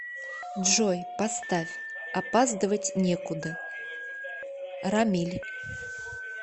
джой поставь опаздывать некуда рамиль